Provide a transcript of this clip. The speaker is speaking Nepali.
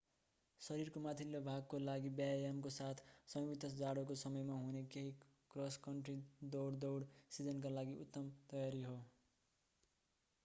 शरीरको माथिल्लो भागको लागि व्यायामको साथ संयुक्त जाडोको समयमा हुने केही क्रस कन्ट्री दौड दौड सिजनका लागि उत्तम तयारी हो